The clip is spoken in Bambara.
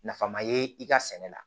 Nafan ma ye i ka sɛnɛ la